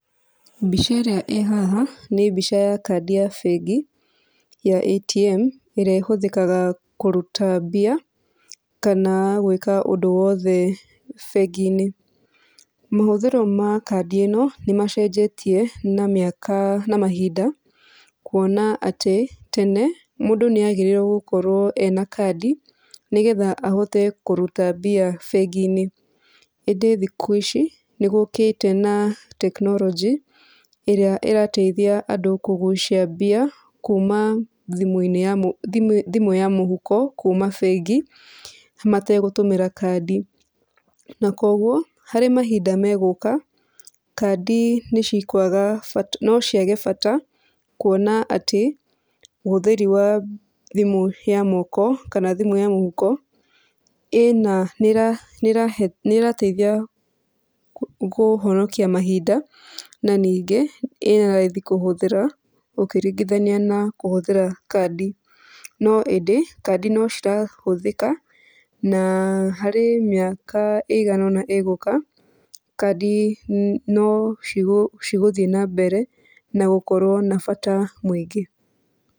Mbica ĩrĩa ĩ haha nĩ mbica ya kandi ya bengi ya ATM, ĩrĩa ĩhũthĩkaga kũruta mbia kana gwĩka ũndũ o wothe bengi-inĩ. Mahũthĩro ma kandi ĩno nĩmacenjetie na mĩaka na mahinda, kuona atĩ tene mũndũ nĩagĩrĩirwo gũkorwo ena kandi, nĩgetha ahote kũruta mbia bengi-inĩ. Ĩndĩ thikũ ici nĩgũkĩte na tekinoronjĩ, ĩrĩa ĩrateithia andũ kũgucia mbia kuma thimũ ya mũhuko kuma bengi mategũtũmĩra kandi. Na kuoguo harĩ mahinda megũka, kandi nĩcikwaga nbatao ciage bata, kuona atĩ ũhũthĩri wa thimũ ya moko kana thimũ ya mũhuko nĩĩrateithia kũhonokia mahinda, na ningĩ ĩna raithi kũhũthĩra ũkĩringithania na kũhũthĩra kandi. No ĩndĩ, kandi nocirahũthĩka na harĩ mĩaka ĩigana ũna ĩgũka, kandi nocigũthiĩ na mbere na gũkorwo na bata mũingĩ.